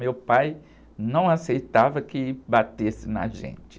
Meu pai não aceitava que batesse na gente.